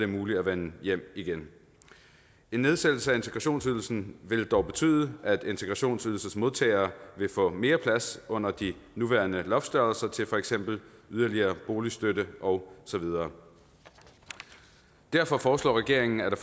muligt at vende hjem igen en nedsættelse af integrationsydelsen vil dog betyde at integrationsydelsesmodtagere vil få mere plads under de nuværende loftstørrelser til yderligere boligstøtte og så videre derfor foreslår regeringen at